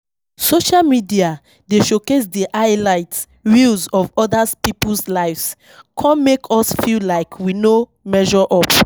Social media dey showcase di highlight reels of oda people's lives, come make us feel like we no measure up.